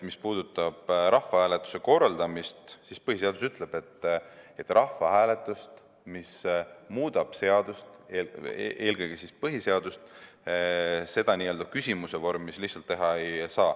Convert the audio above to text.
Mis puudutab rahvahääletuse korraldamist, siis põhiseadus ütleb, et rahvahääletust, mis muudab seadust, eelkõige põhiseadust, n‑ö küsimuse vormis lihtsalt teha ei saa.